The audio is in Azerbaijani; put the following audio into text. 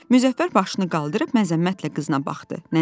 Müzəffər başını qaldırıb məzəmmətlə qızına baxdı.